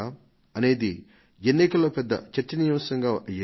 అనేది ఎన్నికల్లో పెద్ద చర్చనీయాంశం అయ్యేది